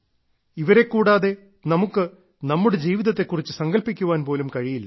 ഇവരെ കൂടാതെ നമുക്ക് നമ്മുടെ ജീവിതത്തെ കുറിച്ച് സങ്കൽപ്പിക്കാൻ പോലും കഴിയില്ല